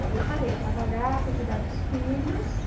Aí eu parei de trabalhar, fui cuidar dos filhos.